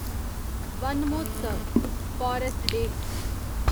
one Mahotsav forest day